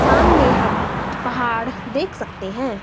सामने हम पहाड़ देख सकते हैं।